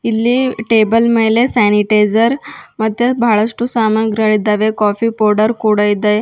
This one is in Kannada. ಇಲ್ಲಿ ಟೇಬಲ್ ಮೇಲೆ ಸ್ಯಾನಿಟೈಸರ್ ಮತ್ತೆ ಬಹಳಷ್ಟು ಸಾಮಗ್ರಿಗಳಿದ್ದಾವೆ ಕಾಫಿ ಪೌಡರ್ ಕೂಡ ಇದೆ.